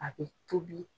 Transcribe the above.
A bɛ tobi